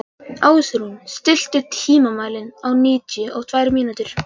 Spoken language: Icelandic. Ásrún, stilltu tímamælinn á níutíu og tvær mínútur.